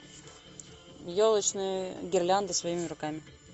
елочные гирлянды своими руками